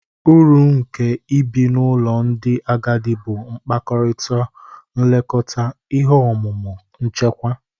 Uru nke ibi n'ụlọ ndị agadi bụ mkpakọrịta, nlekọta, ihe omume, nchekwa.